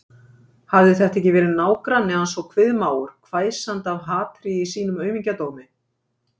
Hafði þetta ekki verið nágranni hans og kviðmágur, hvæsandi af hatri í sínum aumingjadómi?